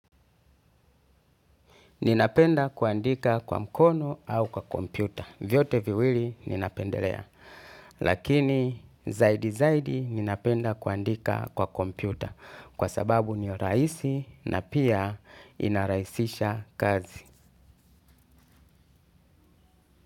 Ninapenda kuandika kwa mkono au kwa kompyuta. Vyote viwili ninapendelea. Lakini zaidi zaidi ninapenda kuandika kwa kompyuta. Kwa sababu ndiyo rahisi na pia inarahisisha kazi.